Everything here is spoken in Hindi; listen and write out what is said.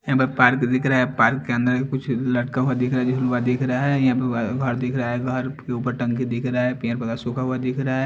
यहाँ पे पार्क दिख रहा है पार्क के अंदर कुछ लड़का हुआ दिख रहा है यहाँ पे घर दिख रहा है घर के ऊपर टंकी दिख रहा है पेड़ पौधे सुख रहा दिख रहा है।